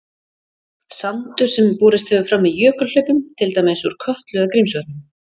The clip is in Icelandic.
Sandur sem borist hefur fram með jökulhlaupum, til dæmis úr Kötlu eða Grímsvötnum.